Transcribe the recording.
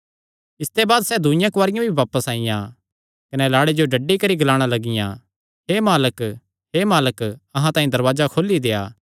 इसते बाद सैह़ दूईआं कुआरियां भी बापस आईआं कने लाड़े जो डड्डी करी ग्लाणा लगियां हे मालक हे मालक अहां तांई दरवाजे खोली देआ